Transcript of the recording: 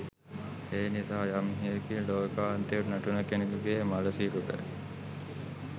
එනිසා යම් හෙයකින් ලෝකාන්තයෙන් වැටුණු කෙනකුගේ මළසිරුර